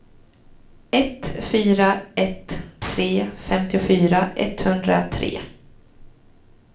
ett fyra ett tre femtiofyra etthundratre